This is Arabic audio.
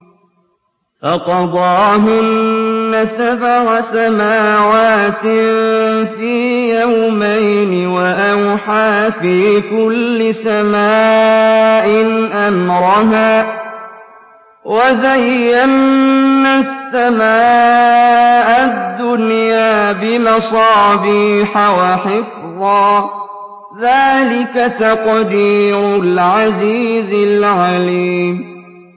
فَقَضَاهُنَّ سَبْعَ سَمَاوَاتٍ فِي يَوْمَيْنِ وَأَوْحَىٰ فِي كُلِّ سَمَاءٍ أَمْرَهَا ۚ وَزَيَّنَّا السَّمَاءَ الدُّنْيَا بِمَصَابِيحَ وَحِفْظًا ۚ ذَٰلِكَ تَقْدِيرُ الْعَزِيزِ الْعَلِيمِ